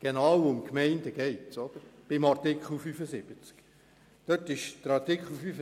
Dazu Folgendes: Es geht in Artikel 75 ja eben um die Gemeinden.